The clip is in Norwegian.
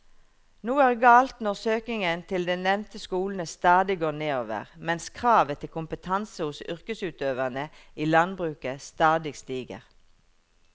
Noe er galt når søkningen til de nevnte skolene stadig går nedover mens kravet til kompetanse hos yrkesutøverne i landbruket stadig stiger.